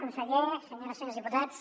conseller senyores i senyors diputats